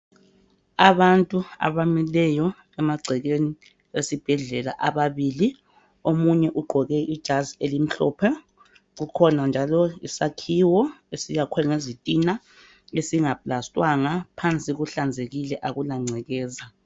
Abantu abamileyo emagcekeni esibhedlela ababili omunye ugqoke ijazi elimhlophe kukhona njalo isakhiwo esakhiwe ngezitina ezingaplastiwanga. Phansi kuhlanzekile akulangcekeza.